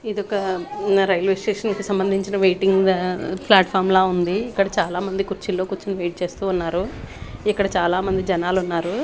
ఇదొక న railway station కి సంబందించిన వైటింగ్ అ ప్లాట్ ఫాం లా ఉంది ఇక్కడ చాలామంది కుర్చీలో కూర్చోని వెయిట్ చేస్తూ ఉన్నారు ఇక్కడ చాలా మంది జనాలు ఉన్నారు.